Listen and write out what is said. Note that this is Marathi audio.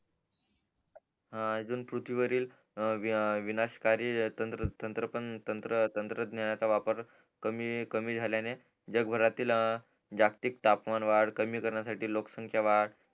हा अजून पृथ्वी वरील विनाश कारक तंत्र पण तंत्र तंत्रन्ह्यानाचा वापर कमी कमी झाल्याने जगभरातील जागतिक तापमान वाढ कमी करण्यासाठी लोकसंख्या वाढ